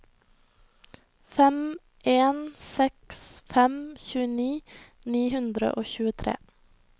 fem en seks fem tjueni ni hundre og tjuetre